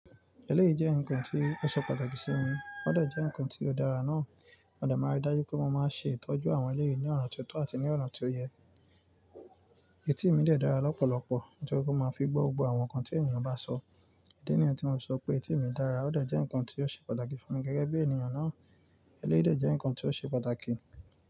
Ẹlẹ́yìí jẹ́ ǹkan tí ó ṣe pàtàkì sí mi, ó de jẹ́ ǹkan tí ó dára náà. Mode máa rí dáju pé mo máa ń ṣe ìtọ́jú àwọn ẹlẹ́yii ní ọ̀nà tó tọ́ àti ní ọ̀nà tí ó yẹ. Etí mi dà dára lọ́pọ̀lọpọ̀, nítorí pé mo máa ń fi gbọ́ gbogbo àwọn nǹkan tí ènìyàn bá sọ. Idi níyen tí mo sọ pé etí mi dára ó de jẹ́ ǹkan tí ó ṣe pàtàkì fún mi gẹ́gẹ́ bí ènìyàn náà. Ẹlẹ́rìí dà jẹ́ ǹkan tí ó ṣe pàtàkì.